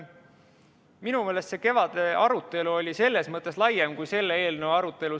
Minu meelest see kevadine arutelu oli laiem kui selle eelnõu arutelu.